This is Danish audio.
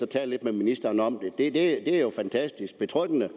tale lidt med ministeren om det det er jo fantastisk betryggende